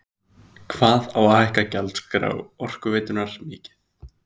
Hvað á að hækka gjaldskrá Orkuveitunnar mikið?